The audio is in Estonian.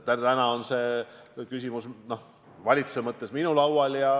Täna on see küsimus valitsuse ja minu laual.